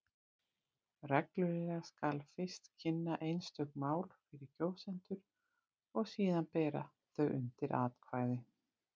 Reglulega skal fyrst kynna einstök mál fyrir kjósendum og síðan bera þau undir atkvæði.